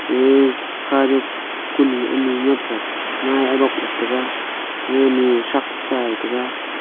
um hazuk kunye anye nyap le ngai arok la tega ae nye tshak chai taga.